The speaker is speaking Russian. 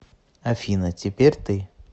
афина теперь ты